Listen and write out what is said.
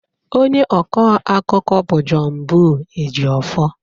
Onye ọkọ akụkọ bụ Johnbull Ejiofor.